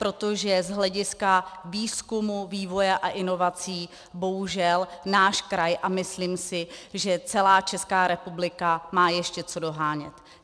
Protože z hlediska výzkumu, vývoje a inovací bohužel náš kraj a myslím si, že celá Česká republika, má ještě co dohánět.